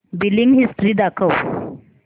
billing history दाखव